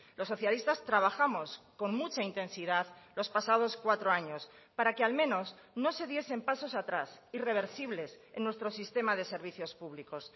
los socialistas trabajamos con mucha intensidad los pasados cuatro años para que al menos no se diesen pasos atrás irreversibles en nuestro sistema de servicios públicos